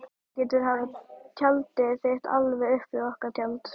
Þú getur haft tjaldið þitt alveg upp við okkar tjald.